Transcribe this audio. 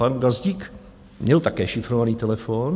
Pan Gazdík měl také šifrovaný telefon.